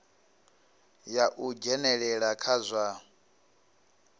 ya u dzhenelela kha zwa